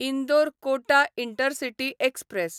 Indore Kota intercity express